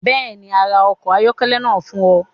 Bẹ́ẹ̀ ni, a ra ọkọ̀ ayọ́kẹ́lẹ́ náà fún ọ.